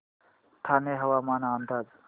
ठाणे हवामान अंदाज